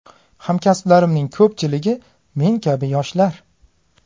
Hamkasblarimning ko‘pchiligi men kabi yoshlar.